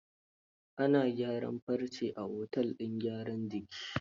Ana gyaran farce a otel din gyaran jikin?